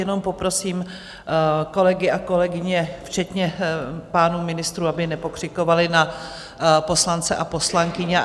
Jenom poprosím kolegy a kolegyně, včetně pánů ministrů, aby nepokřikovali na poslance a poslankyně.